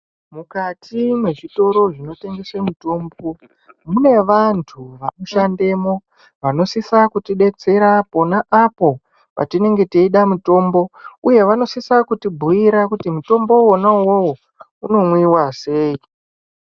Mukati mwezvitoro zvinotengese mutombo, mune vantu vanoshandemo vanosisa kuti detsera pona apo patinenge teyida mutombo uye vanosisa kutibhuyira kuti mutombo wona uwowo unomwiwa sei.